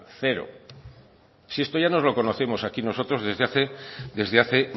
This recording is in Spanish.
cero si esto ya nos lo conocimos aquí nosotros desde hace desde hace